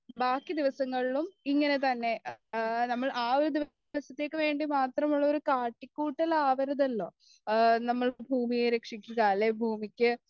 ബാക്കി ദിവസങ്ങളിലും ഇങ്ങനെതന്നെ നമ്മൾ ആ ഒരു ദിവസത്തേക്കുവേണ്ടി മാത്രമുള്ളൊരു കാട്ടികൂട്ടലാകരുതല്ലോ നമ്മൾ ഭൂമിയെ രക്ഷിക്കുക അല്ലെങ്കിൽ ഭൂമിക്ക്